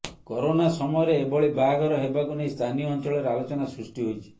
corona ସମୟରେ ଏଭଳି ବାହାଘର ହେବାକୁ ନେଇ ସ୍ଥାନୀୟ ଅଂଚଳରେ ଆଲୋଚନା ସୃଷ୍ଟି ହୋଇଛି